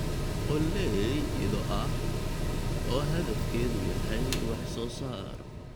Qoolley ido ah oo hadafkeedu yahay wax-soo-saar.